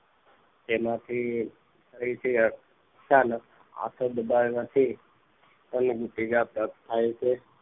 તેમાંથી ફરીથી અચાનક પાછળ દબાણ થાય માંથી થાય છે